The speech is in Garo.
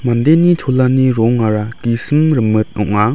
mandeni cholani rongara gisim rimit ong·a.